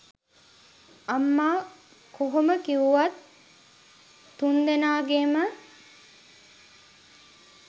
අම්මා කොහොම කිව්වත් තුන්දෙනාගේම